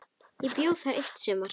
Ég bjó þar eitt sumar.